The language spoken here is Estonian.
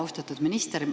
Austatud minister!